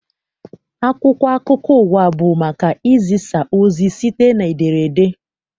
Akwụkwọ akụkọ ụwa bụ maka izisa ozi site n'ederede.